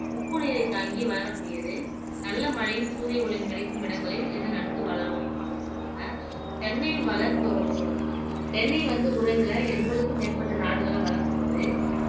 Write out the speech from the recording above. உப்பு நீரை தாங்கி வளரக்கூடியது நல்ல மழையும் சூரிய ஒளியும் கிடைக்கும் இடங்களில் இது நன்கு வளரும் அப்படின்னு சொல்றாங்க தென்னை வளர்ப்பை பத்தி சொல்றாங்க தென்னை வந்து உலகுல எண்பதுக்கும் மேற்பட்ட நாடுகள்ல வளர்க்கப்படுது